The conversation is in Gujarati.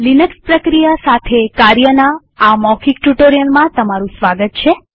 લિનક્સ પ્રક્રિયા સાથે કાર્યના આ મૌખિક ટ્યુ્ટોરીઅલમાં સ્વાગત છે